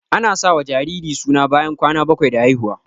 Ana sa wa jariri suna bayan kwana bakwai da haihuwa